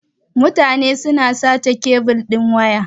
Mutane suna sace kebil din waya.